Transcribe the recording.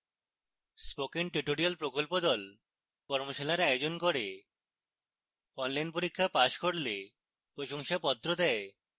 spoken tutorial প্রকল্প the কর্মশালার আয়োজন করে অনলাইন পরীক্ষা পাস করলে প্রশংসাপত্র দেয়